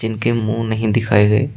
इनके मुंह नहीं दिखाए गए।